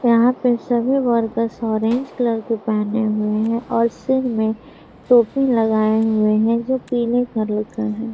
यहाँ पे सभी वर्कर्स ऑरेंज कलर के पहने हुए है और सब ने टोपी लगाए हुए हैजो पीले कलर का है।